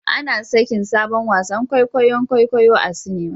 Ana sakin sabon wasan kwaikwayon kwaikwayo a cinema